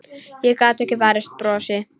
Ég gat ekki varist brosi.